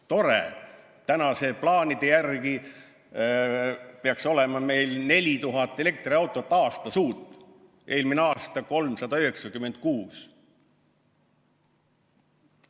Tore, tänaste plaanide järgi peaks meil olema 4000 uut elektriautot aastas, eelmine aasta oli 396.